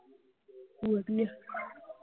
ਵਧੀਆ।